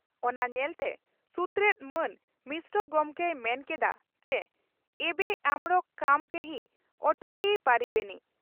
ᱚᱱᱟ ᱧᱮᱞᱛᱮ ᱥᱩᱛᱨᱮᱛ ᱢᱟᱱ ᱢᱤᱥᱨᱚ ᱜᱚᱢᱠᱮᱭ ᱢᱮᱱ ᱠᱮᱫᱼᱟ ᱪᱤ ᱮᱵᱮ ᱟᱢᱬᱚᱠᱚ ᱠᱟᱢᱚ ᱠᱮᱦᱤ ᱚᱴᱠᱮᱭᱤ ᱯᱟᱨᱤᱵᱮᱱᱤ ᱾